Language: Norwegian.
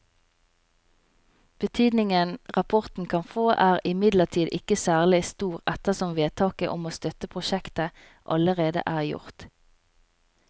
Betydningen rapporten kan få er imidlertid ikke særlig stor ettersom vedtaket om å støtte prosjektet allerede er gjort.